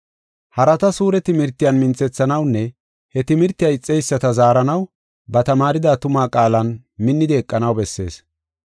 Harata suure timirtiyan minthethanawunne he timirtiya ixeyisata zaaranaw ba tamaarida tuma qaalan minnidi eqanaw bessees.